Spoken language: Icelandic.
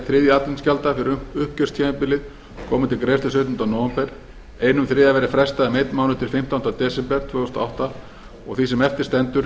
hátt að einn þriðji aðflutningsgjalda fyrir uppgjörstímabilið komi til greiðslu sautjánda nóvember einn þriðji verði frestað um einn mánuð til fimmtánda desember tvö þúsund og átta og því sem eftir stendur